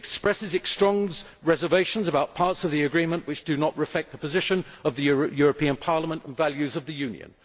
expresses its strong reservations about parts of the agreement which do not reflect the position of the European Parliament and values of the Union